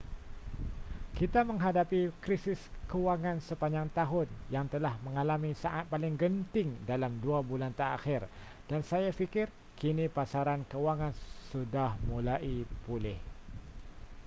kita menghadapi krisis kewangan sepanjang tahun yang telah mengalami saat paling genting dalam dua bulan terakhir dan saya fikir kini pasaran kewangan sudah mulai pulih